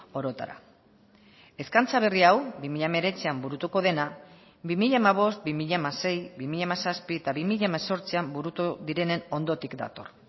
orotara eskaintza berri hau bi mila hemeretzian burutuko dena bi mila hamabost bi mila hamasei bi mila hamazazpi eta bi mila hemezortzian burutu direnen ondotik dator